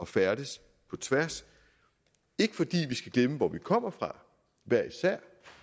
færdes på tværs ikke fordi vi skal glemme hvor vi kommer fra